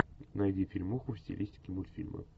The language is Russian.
найди фильмуху в стилистике мультфильма